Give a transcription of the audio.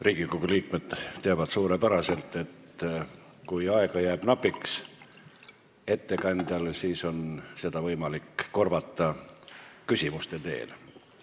Riigikogu liikmed teavad suurepäraselt, et kui ettekandjal jääb aega napiks, siis on seda võimalik korvata küsimuste abil.